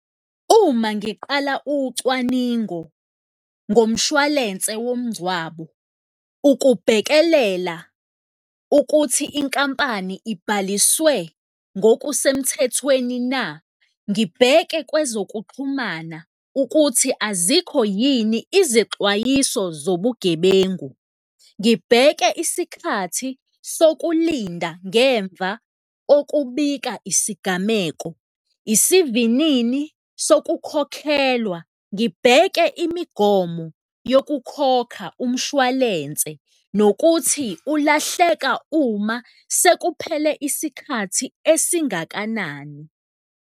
Uma ngiqala ucwaningo ngomshwalense womngcwabo, ukubhekelela ukuthi inkampani ibhaliswe ngokusemthethweni na, ngibheke kwezokuxhumana ukuthi azikho yini izexwayiso zobugebengu, ngibheke isikhathi sokulinda ngemva kokubika isigameko, isivinini sokukhokhelwa, ngibheke imigomo yokukhokha umshwalense nokuthi ulahleka uma sekuphele isikhathi esingakanani.